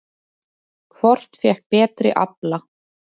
Hvort fékk betri afla?